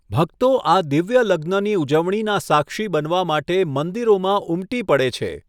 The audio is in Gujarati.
ભક્તો આ દિવ્ય લગ્નની ઉજવણીના સાક્ષી બનવા માટે મંદિરોમાં ઉમટી પડે છે.